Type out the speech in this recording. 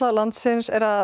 landsins er að